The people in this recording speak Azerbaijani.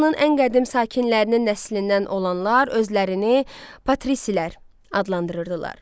Romanın ən qədim sakinlərinin nəslindən olanlar özlərini patrisilər adlandırırdılar.